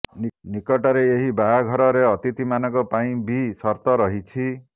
ନିକଟରେ ଏହି ବାହାଘରରେ ଅତିଥିମାନଙ୍କ ପାଇଁ ବି ସର୍ତ୍ତ ରହିଛି